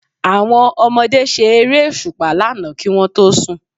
Àwọn ọmọdé ṣe Eré òṣùpá lánàá kí wọ́n tó sùn